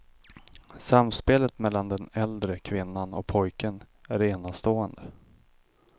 Samspelet mellan den äldre kvinnan och pojken är enastående.